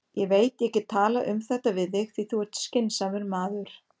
Ég veit ég get talað um þetta við þig, því þú ert skynsamur maður.